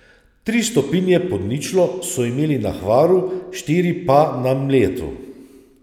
Tri stopinje pod ničlo so imeli na Hvaru, štiri pa na Mljetu.